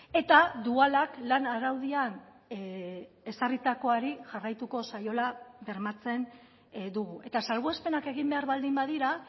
eta dualak lan araudian ezarritakoari jarraituko zaiola bermatzen dugu eta salbuespenak egin behar baldin badira